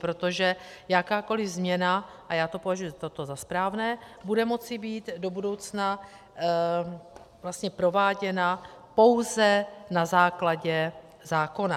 Protože jakákoliv změna - a já toto považuji za správné - bude moci být do budoucna prováděna pouze na základě zákona.